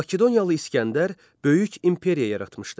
Makedoniyalı İsgəndər böyük imperiya yaratmışdı.